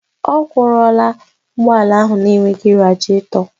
Ọ kwọra ụgbọ ala ahụ na-enweghị radịètọ